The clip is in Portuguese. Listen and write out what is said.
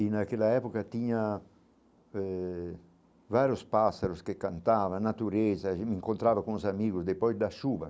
E naquela época tinha eh vários pássaros que cantavam, natureza, a gente encontrava com os amigos, depois da chuva.